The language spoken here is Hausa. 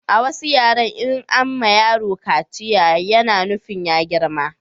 A wasu yaren in an ma yaro kaciya ya na nufin ya girma